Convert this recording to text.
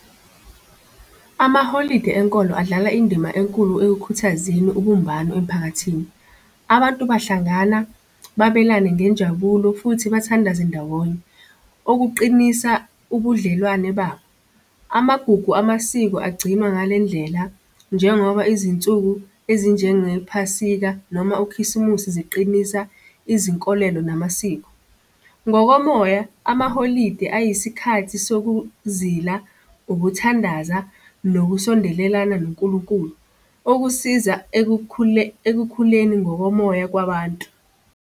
Amaholide enkolo adlala indima enkulu ekukhuthazeni ubumbano emphakathini. Abantu bahlangana, babelane ngenjabulo, futhi abathandaze ndawonye, okuqinisa ubudlelwane babo. Amagugu amasiko agcinwa ngale ndlela njengoba izinsuku ezinjengephasika noma ukhisimusi ziqinisa izinkolelo namasiko. Ngokomoya, amaholide ayisikhathi sokuzila, ukuthandaza, nokusondelelana nonkulunkulu, okusiza ekukhuleni ngokomoya kwabantu.